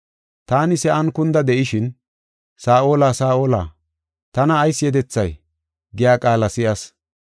Taani sa7an kunda de7ishin, ‘Saa7ola, Saa7ola, tana ayis yedethay?’ giya qaala si7as.